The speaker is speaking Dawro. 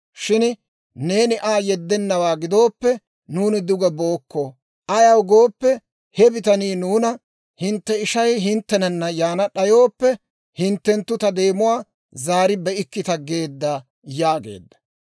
Shin neeni Aa yeddennawaa gidooppe, nuuni duge bookko; ayaw gooppe, he bitanii nuuna, ‹Hintte ishay hinttenana yaana d'ayooppe, hinttenttu ta deemuwaa zaari be'ikkita› geedda» yaageedda.